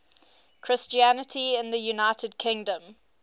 christianity in the united kingdom